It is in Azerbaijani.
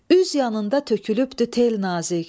Üz yanında tökülübdü tel nazik.